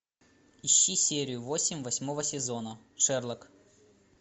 ищи серию восемь восьмого сезона шерлок